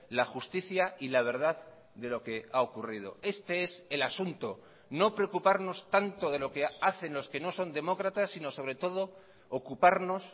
la justicia y la verdad de lo que ha ocurrido este es el asunto no preocuparnos tanto de lo que hacen los que no son demócratas sino sobre todo ocuparnos